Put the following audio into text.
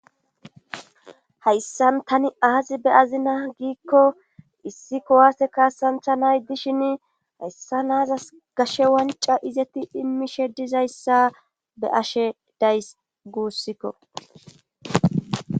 Haysanan tani aazi be azina giikko issi kowaase kaasantha nay dishin hayssa naazas gashe wanca izetti immishe dizayssa be ashe day guussikko.